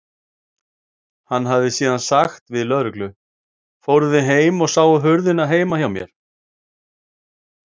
Hann hefði síðan sagt við lögreglu: Fóruð þið heim og sáuð hurðina heima hjá mér?